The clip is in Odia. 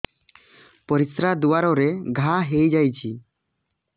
ପରିଶ୍ରା ଦ୍ୱାର ରେ ଘା ହେଇଯାଇଛି